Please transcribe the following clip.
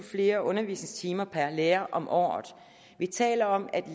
flere undervisningstimer per lærer om året vi taler om at